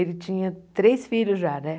Ele tinha três filhos já, né?